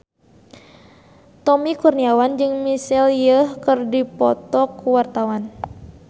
Tommy Kurniawan jeung Michelle Yeoh keur dipoto ku wartawan